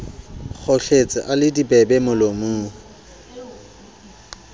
kgohletse a le dibebe molomong